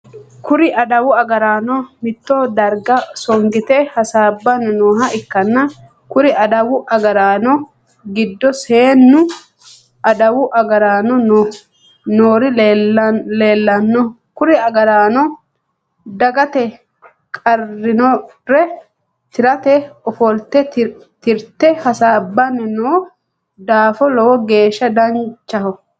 Kuri adawu agaraano mitto darga songite hasaabanni nooha ikanna kuri adawu agaraano gido seennu adawu agaraano noori leelano. Kuri agaraano dagate qarinore tirate ofolte tirate hasaabanni noo daafo lowo geesha danchaho.